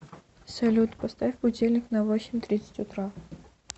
салют поставь будильник на восемь тридцать утра